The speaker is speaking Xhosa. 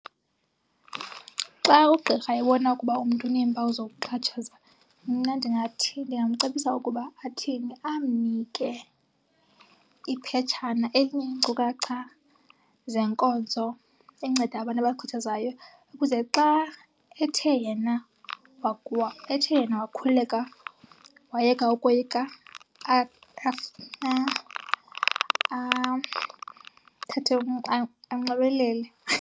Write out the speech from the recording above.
Xa ugqirha ebona ukuba umntu uneempawu zokuxhatshazwa, mna ndingathi, ndingamcebisa ukuba athini? Amnike iphetshana elineenkcukacha zenkonzo enceda abantu abaxhatshazwayo ukuze xa ethe yena , ethe yena wakhululeka wayeka ukoyika athathe , anxibelele.